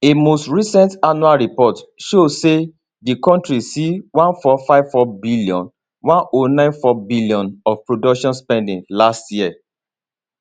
a most recent annual report show say di kontri see 1454bn 1094bn of production spending last year